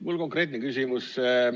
Mul on konkreetne küsimus.